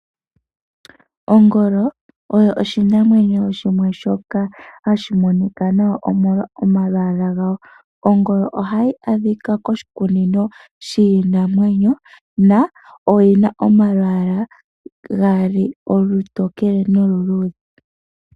Ongolo oyo oshinamwenyo shimwe shoka hashi monika nawa omolwa omalwaala gawo. Ongolo oha yi adhika koshikunino shiinamwenyo na oyi na omalwaala gaali olutokele noluludhe.